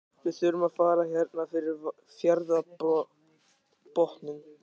Við þurfum að fara hérna fyrir fjarðarbotninn.